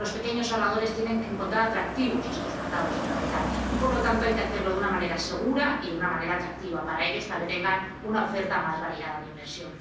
Los pequeños ahorradores tienen que encontrar atractivos estos mercados de capital y, por lo tanto, hay que hacerlo de una manera segura y de una manera atractiva para ellos, para que tengan una oferta más variada de inversión.